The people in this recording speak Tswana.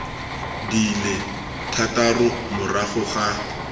di le thataro morago ga